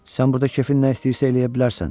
Sən burada kefin nə istəyirsə eləyə bilərsən.